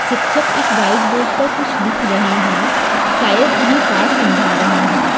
शिक्षक एक white board पर कुछ लिख रहे हैं शायद उन्हें पाठ समझा रहे हैं।